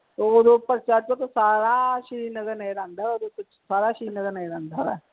ਹੋਰ ਉਪਰ ਛੱਤ ਤੋਂ ਸਾਰਾ ਸ਼੍ਰੀ ਨਗਰ ਨਜਰ ਆਉਂਦਾ ਆ ਓਹਦੇ ਉੱਤੇ ਸਾਰਾ ਸ਼੍ਰੀ ਨਗਰ ਨਜਰ ਆਉਂਦਾ ਆ।